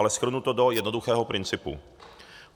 Ale shrnu to do jednoduchého principu.